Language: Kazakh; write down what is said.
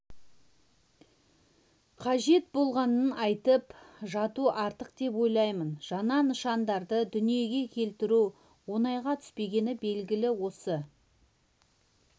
қажет болғанын айтып жату артық деп ойлаймын жаңа нышандарды дүниеге келтіру оңайға түспегені белгілі осы